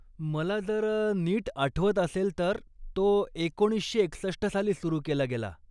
मला जर नीट आठवत असेल, तर तो एकोणीसशे एकसष्ट साली सुरू केला गेला.